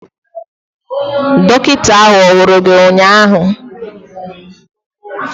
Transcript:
Dọkịta ahụ ọ hụrụ gị ụnyaahụ?